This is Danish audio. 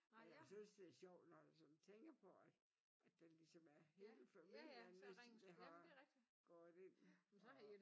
Men jeg synes det er sjovt når jeg sådan tænker på at at det ligesom er hele familien der har gået ind og